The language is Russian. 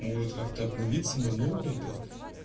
может как-то обновиться на новый айпад